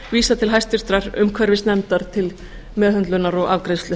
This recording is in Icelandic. vísað til hæstvirtrar umhverfisnefndar til meðhöndlunar og afgreiðslu